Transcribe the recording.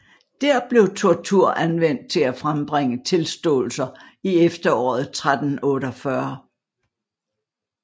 Dér blev tortur anvendt til at fremtvinge tilståelser i efteråret 1348